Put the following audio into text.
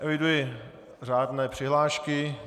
Eviduji řádné přihlášky.